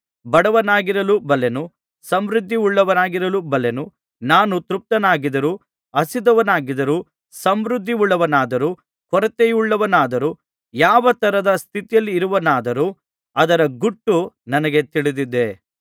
ಬಡವನಾಗಿರಲೂ ಬಲ್ಲೆನು ಸಮೃದ್ಧಿಯುಳ್ಳವನಾಗಿರಲೂ ಬಲ್ಲೆನು ನಾನು ತೃಪ್ತನಾಗಿದ್ದರೂ ಹಸಿದವನಾಗಿದ್ದರೂ ಸಮೃದ್ಧಿಯುಳ್ಳವನಾದರೂ ಕೊರತೆಯುಳ್ಳವನಾದರೂ ಯಾವ ತರದ ಸ್ಥಿತಿಯಲ್ಲಿರುವವನಾದರೂ ಅದರ ಗುಟ್ಟು ನನಗೆ ತಿಳಿದಿದೆ